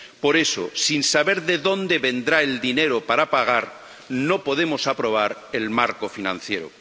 Por eso, sin saber de dónde vendrá el dinero para pagar, no podemos aprobar el marco financiero.